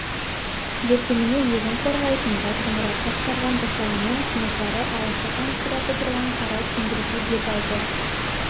ертеңіне өзін қорғайтын батырмұрат басқарған жасағымен кенесары алашахан зираты тұрған қара кеңгірге бет алды